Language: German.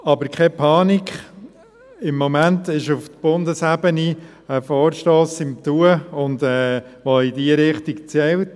Aber keine Panik, im Moment ist auf Bundesebene ein Vorstoss in Bearbeitung, der in diese Richtung zielt.